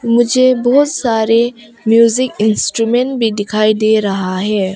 मुझे बहुत सारे म्यूजिक इंस्ट्रुमेंट भी दिखाई दे रहा है।